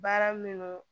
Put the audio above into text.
Baara min don